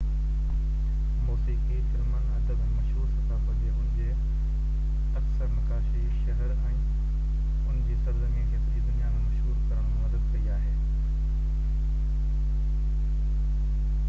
موسيقي فلمن ادب ۽ مشهور ثقافت جي ان جي اڪثر نقاشي شهر ۽ ان جي سرزمين کي سڄي دنيا ۾ مشهور ڪرڻ ۾ مدد ڪئي آهي